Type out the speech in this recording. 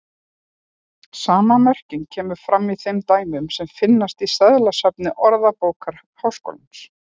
Sama merking kemur fram í þeim dæmum sem finnast í seðlasafni Orðabókar Háskólans.